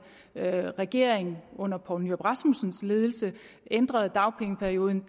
regering under poul nyrup rasmussens ledelse ændrede dagpengeperioden